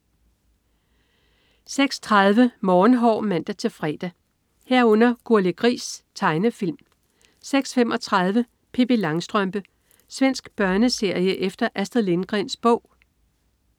06.30 Morgenhår (man-fre) 06.30 Gurli Gris. Tegnefilm (man-fre) 06.35 Pippi Langstrømpe. Svensk børneserie efter Astrid Lindgrens bog (man-fre)